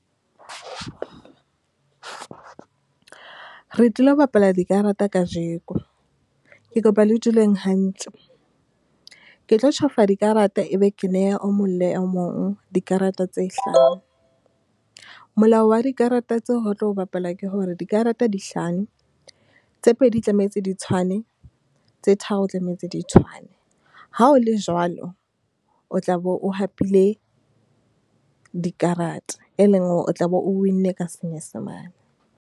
Re tlilo bapala dikarata kajeko, ke kopa le duleng hantle. Ke tlo tjhofa dikarata, e be ke neha o mong le mong dikarata tse hlano. Molao wa dikarata tseo ho tlo bapala ke hore, dikarata di hlano, tse pedi tlamehetse di tshwane tse tharo tlametse di tshwane. Ha o le jwalo, o tla be o hapile dikarata, e leng hore o tla be o win-nne ka senyesemane.